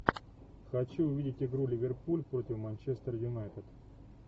хочу увидеть игру ливерпуль против манчестер юнайтед